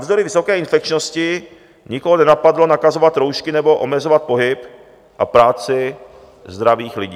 Navzdory vysoké infekčnosti nikoho nenapadlo nakazovat roušky nebo omezovat pohyb a práci zdravých lidí.